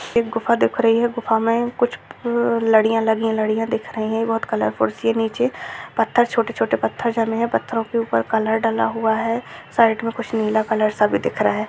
एक गुफा दिख रही है गुफा मे कुछ उम लड़ियाँ लगी हैं लड़ियाँ दिख रही है | बहुत कलर कुर्सी है निचे | पत्थर छोटे छोटे पत्थर जमे हैं | पथरो के ऊपर कलर डला हुआ है | साइड में कुछ नीला कलर सा भी दिख रहा है |